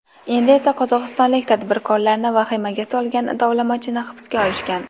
Endi esa qozog‘istonlik tadbirkorlarni vahimaga solgan tovlamachini hibsga olishgan.